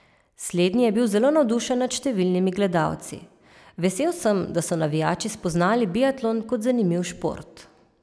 Slednji je bil zelo navdušen nad številnimi gledalci: "Vesel sem, da so navijači spoznali biatlon kot zanimiv šport.